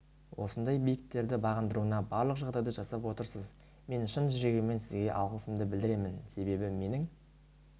осындай биіктерді бағындыруына барлық жағдайды жасап отырсыз мен шын жүрегіммен сізге алғысымды білдіремін себебі менің